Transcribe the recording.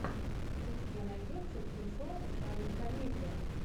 у тебя найдется кинцо в жанре комедия